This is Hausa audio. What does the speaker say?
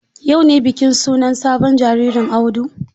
Yau ne bikin sunan sabon jaririn Audu?